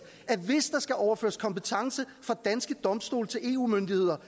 at hvis der skal overføres kompetence fra danske domstole til eu myndigheder